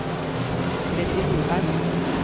Freddy Nordheim